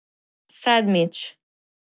Sedmič.